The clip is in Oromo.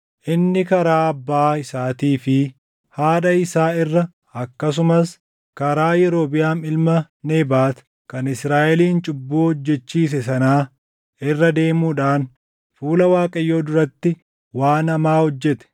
Inni karaa abbaa isaatii fi haadha isaa irra akkasumas karaa Yerobiʼaam ilma Nebaat kan Israaʼelin cubbuu hojjechiise sanaa irra deemuudhaan fuula Waaqayyoo duratti waan hamaa hojjete.